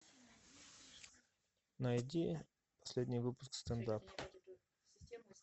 найди последний выпуск стендап